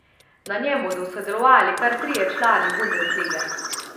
Na njem bodo sodelovali kar trije člani bundeslige.